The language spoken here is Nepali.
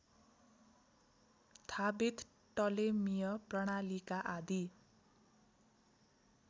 थाबित टलेमीय प्रणालीका आदि